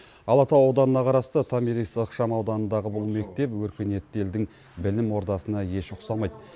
алатау ауданына қарасты томирис ықшам ауданындағы бұл мектеп өркениетті елдің білім ордасына еш ұқсамайды